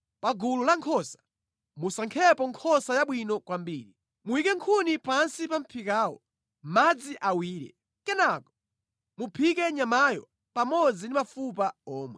Pa gulu la nkhosa musankhepo nkhosa yabwino kwambiri. Muyike nkhuni pansi pa mʼphikawo. Madzi awire. Kenaka muphike nyamayo pamodzi ndi mafupa omwe.’